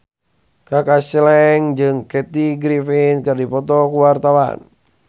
Kaka Slank jeung Kathy Griffin keur dipoto ku wartawan